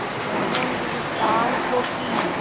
दोनों ने ताल ठोंकी